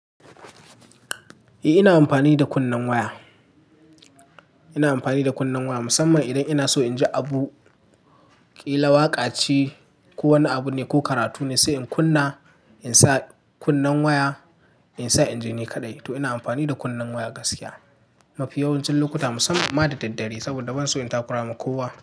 Eh, ina amfani da kunnen waya. Ina amfani da kunnen waya musamman idan ina so in ji abu, ƙila waƙa ce ko wani abu ne, ko karatu ne sai in kunna, in sa kunnen waya, in sa inji ne kaɗai. Toh ina amfani da kunnen waya gaskiya, mafi yawancin lokuta, musamman ma da daddare, saboda ban so in takura wa makuwa.